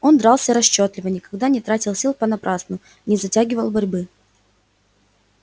он дрался расчётливо никогда не тратил сил понапрасну не затягивал борьбы